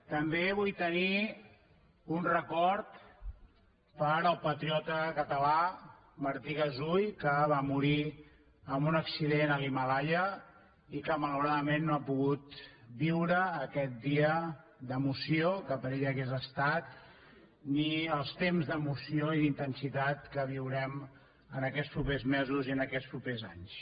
també vull tenir un record per al patriota català martí gasull que va morir en un accident a l’himàlaia i que malauradament no ha pogut viure aquest dia d’emoció que per a ell hauria estat ni els temps d’emoció i d’intensitat que viurem en aquests propers mesos i en aquests propers anys